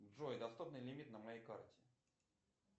джой доступный лимит на моей карте